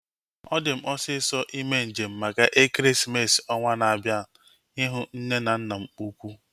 Ọ di m osisọ ime njem maka ekeresimesi ọnwaa na-abianu ihu nne na nna m ukwuu